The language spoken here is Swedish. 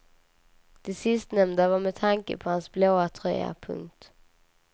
Det sistnämnda var med tanke på hans blå tröja. punkt